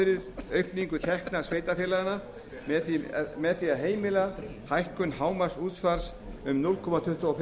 fyrir aukningu tekna sveitarfélaganna með því að heimila hækkun hámarksútsvars um núll komma tuttugu og